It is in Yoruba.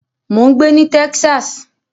Mò ń gbé ní Texas.